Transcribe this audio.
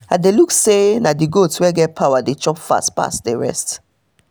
i de look say na the goat wey get power dey chop fast pass the rest